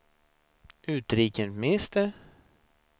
utrikesminister